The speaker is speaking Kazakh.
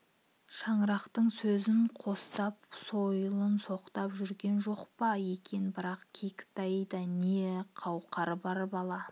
шырақтың сөзін қостап сойылын соғып та жүрген жоқ па екен бірақ кәкітайда не қауқар бар бала